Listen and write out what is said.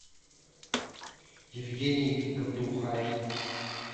евгений габдулхаев